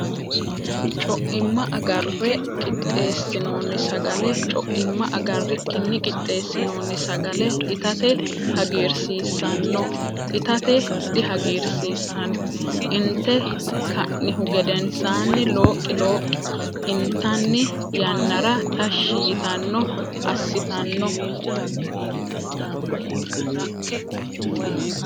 Co imma agarre qixxeessinoonni sagale Co imma agarrikkinni qixxeessinoonni sagale itate hagiirsiissanno Itate dihagiirsiissanno Inte ka nihu gedensaanni looqi looqi intanni yannara tashshi yitanno assitanno.